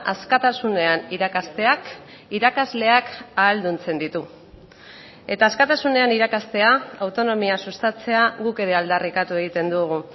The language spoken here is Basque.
askatasunean irakasteak irakasleak ahalduntzen ditu eta askatasunean irakastea autonomia sustatzea guk ere aldarrikatu egiten dugu